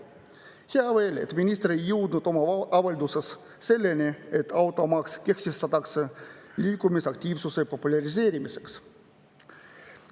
Hea veel, et minister ei jõudnud oma avalduses selleni, et automaks kehtestatakse liikumisaktiivsuse populariseerimiseks.